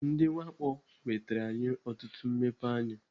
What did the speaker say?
Ndị mwakpo nwetere anyị ọtụtụ mmepeanya.